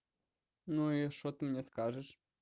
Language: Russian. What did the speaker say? ну и что ты мне скажешь